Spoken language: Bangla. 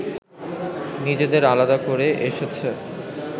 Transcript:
নিজেদের আলাদা করে এসেছে